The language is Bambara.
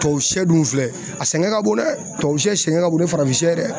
Tubabu sɛ dun filɛ a sɛgɛn ka bon dɛ tubabu sɛ sɛgɛn ka bon ni farafin ye dɛ.